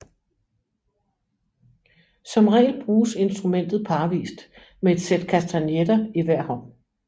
Som regel bruges instrumentet parvist med et sæt kastagnetter i hver hånd